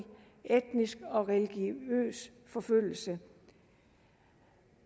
etnisk og religiøs forfølgelse